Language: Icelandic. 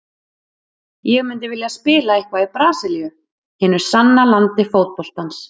Ég myndi vilja spila eitthvað í Brasilíu, hinu sanna landi fótboltans.